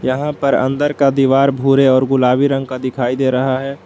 यहां पर अंदर का दीवार भूरे और गुलाबी रंग का दिखाई दे रहा है।